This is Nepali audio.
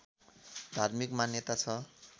धार्मिक मान्यता छ